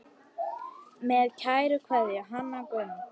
Með kærri kveðju, Hanna Gunn.